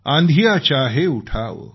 आँधियाँ चाहे उठाओ